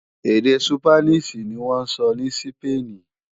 Èdè Súpánìṣì ní wọ́n ń sọ ní Sípéènì